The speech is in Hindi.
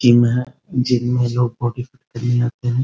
जिम है। जिम में लोग बॉडी फिट करने है।